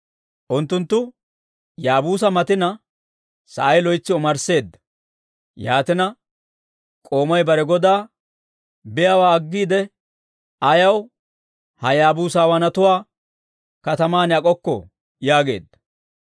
Unttunttu Yaabuusa matina, sa'ay loytsi omarsseedda; yaatina, k'oomay bare godaa, «Biyaawaa aggiide ayaw ha Yaabuusawaanatuwaa katamaan ak'okkoo?» yaageedda.